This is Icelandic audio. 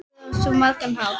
Mögnuð á svo margan hátt.